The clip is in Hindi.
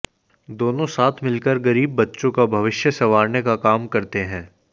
दोनों साथ मिलकर गरीब बच्चों का भविष्य संवारने का काम करते हैं